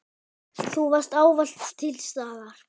Þú varst ávallt til staðar.